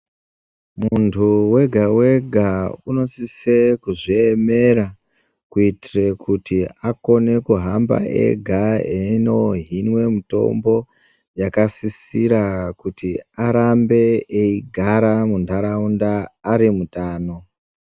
Muntu wega wega, unosise kuzviemera kuitire kuti akone kuhamba yega eno inwa mitombo yakasisira kuti arambe egara mundarawunda arimutano.